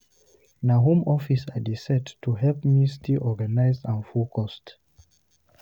Na home office I dey set up to help me stay organized and focused.